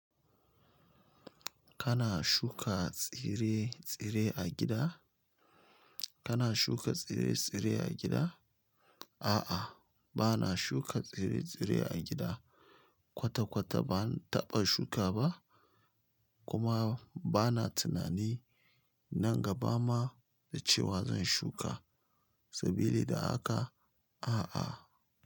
Kana shuka tsire-tsire a gida? Kana shuka tsire-tsire a gida? A'a, ba na shuka tsire-tsire a gida. Kwata-kwata ba na taɓa shuka ba, kuma ba na tunani nan gaba ma da cewa zan shuka. Sabili da haka, a'a.